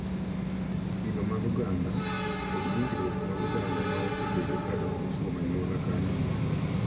Kido mag oganda, kod winjruok mag oganda ma osebedo ka dongo kuom anyuola ka anyuola.